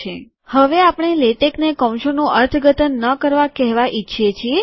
001702 001716016 હવે આપણે લેટેકને કૌંસોનું અર્થઘટન ન કરવા કહેવા ઈચ્છીએ છીએ